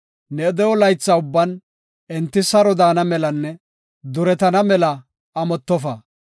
Ne de7o laytha ubban enti saro daana melanne duretana mela amottofa.